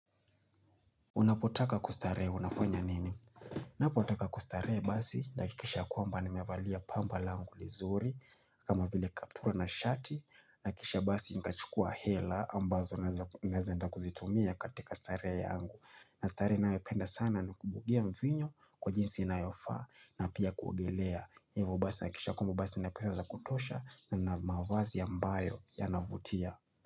Unapotaka kustaree unafanya nini? Unapotaka kustaree basi nahakikisha ya kwamba nimevalia pamba langu lizuri kama vile kaptura na shati na kisha basi nikachukua hela ambazo naeza enda kuzitumia katika starehe yangu na starehe ninayo penda sana ni kubugia mvinyo kwa jinsi inayofa na pia kuogelea Hivo basi nahakikisha kwamba basi nina pesa za kutosha na mavazi ambayo yanavutia.